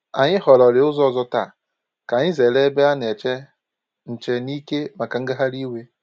Anyị họrọ̀rị ụzọ ọzọ̀ taa ka anyị zere ebe a na-eche nche n’ike màkà ngagharị iwe